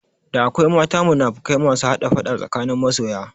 Da akwai mata munafukai masu hada faɗa tsakanin masoya